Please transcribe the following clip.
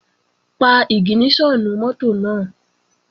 Pa ìgìníṣọ̀nù mọ́tò náà!